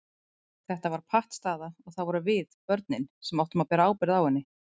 Þetta var pattstaða og það vorum við, börnin, sem áttum að bera ábyrgð á henni.